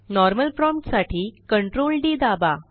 normal promptसाठी Ctrl D दाबा